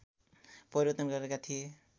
परिवर्तन गरेका थिए